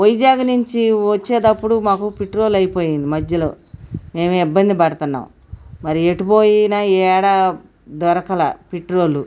వైజాగ్ నుంచి వచ్చేటప్పుడు మాకు పెట్రోల్ అయిపోయింది. మధ్యలో మేము ఇబ్బంది పడుతున్నాం. మరి ఎటు పోయిన యెడ దొరకలే పెట్రోల్.